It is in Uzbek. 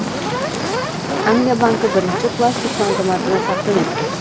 Angliya banki birinchi plastik banknotani taqdim etdi.